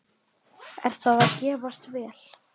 Er það að gefast vel?